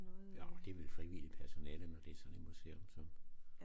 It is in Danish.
Ja og det er vel frivilligt personale når det sådan et museum som